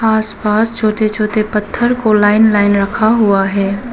आस पास छोटे छोटे पत्थर को लाइन लाइन रखा हुआ है।